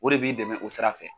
O de b'i dɛmɛ o sira fɛ.